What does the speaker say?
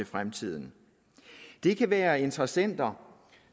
fremtiden det kan være interessenter